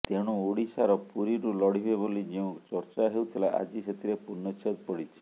ତେଣୁ ଓଡ଼ିଶାର ପୁରୀରୁ ଲଢ଼ିବେ ବୋଲି ଯେଉଁ ଚର୍ଚ୍ଚା ହେଉଥିଲା ଆଜି ସେଥିରେ ପୂର୍ଣ୍ଣଚ୍ଛେଦ ପଡ଼ିଛି